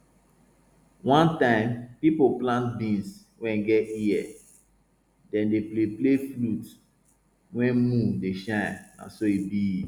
one time people plant beans wey get ear dem dey play play flute when moon dey shine na so e bi